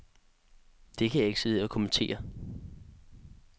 Det kan jeg ikke sidde her og kommentere.